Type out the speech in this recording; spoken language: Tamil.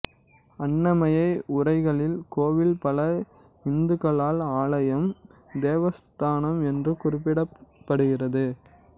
அண்ணமைய உரைகளில் கோவில் பல இந்துக்களால் ஆலயம் தேவஸ்தானம் என்றும் குறிப்பிடப்படுகிறது